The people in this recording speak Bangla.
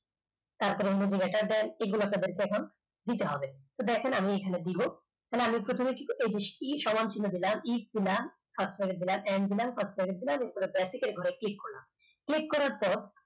তারপরে greater than এগুলো কে বলছে এখন দিতে হবে দেখুন আমি এখানে দেব তাহলে করতে পেরেছি, e সমান চিহ্ন দিলাম e দিলাম fast backet দিলাম n দিলাম first bracket দিলাম এরপর basic র ঘরে click করলাম click করার পর